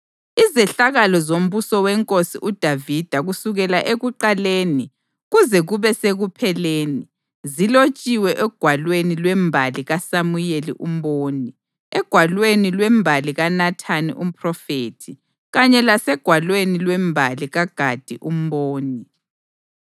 Izehlakalo zombuso weNkosi uDavida kusukela ekuqaleni kuze kube sekupheleni, zilotshiwe egwalweni lwembali kaSamuyeli umboni, egwalweni lwembali kaNathani umphrofethi kanye lasegwalweni lwembali kaGadi umboni.